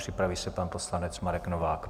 Připraví se pan poslanec Marek Novák.